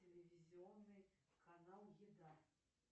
телевизионный канал еда